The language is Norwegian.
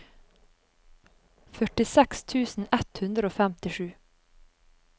førtiseks tusen ett hundre og femtisju